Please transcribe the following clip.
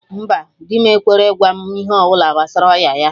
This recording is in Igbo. Mba, dị m ekwerọ ịgwa m ihe ọbụla gbasara ọya ya